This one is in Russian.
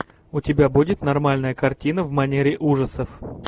у тебя будет нормальная картина в манере ужасов